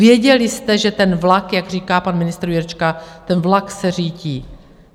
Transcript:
Věděli jste, že ten vlak, jak říká pan ministr Jurečka, ten vlak se řítí.